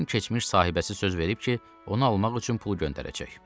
Tomun keçmiş sahibəsi söz verib ki, onu almaq üçün pul göndərəcək.